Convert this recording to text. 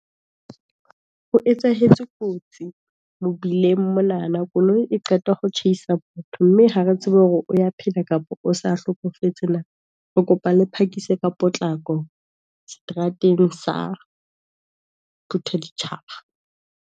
Ho etsahetse kotsi mobileng monana, koloi e qeta ho tjhaisa motho, mme ha re tsebe hore o ya phela, kapa o sa hlokofetse na. Re kopa le phakise ka potlako, seterateng sa phuthaditjhaba.